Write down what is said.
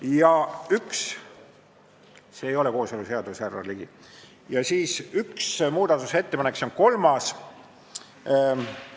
Veel üks – see ei ole kooseluseadus, härra Ligi – muudatusettepanek, see on kolmas ettepanek.